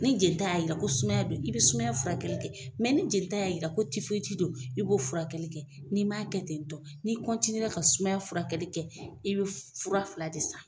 Ni jelita y'a yira ko sumaya don i bɛ sumayaya furakɛli kɛ ni jelita y'a yira k'o don i b'o furakɛli kɛ n'i m'a kɛ tentɔ n'i ka sumayaya furakɛli kɛ i bɛ fura fila de san.